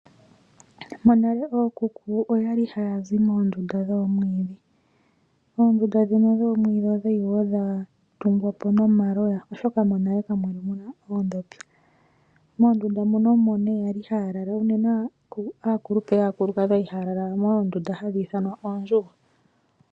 Ookuku okwa li haya zi mondunda yoomwiidhi . Oondunda ndhino dhoomwiidhi okwa li dhatungwa po nomaloya oshoka monale kamwali muna oondhopi. Moondunda omo kwa li haya lala unene aakupule yaakulukadhi oya li haya lala moondunda hadhi ithanwa pondjugo .